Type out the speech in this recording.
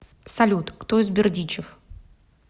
салют кто из бердичев